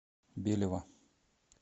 белева